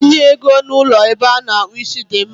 Itinye ego na ụlọ ebe a na-akpụ isi dị mma.